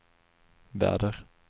väder